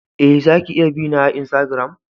Eh, za ki iya bi na a insagiram.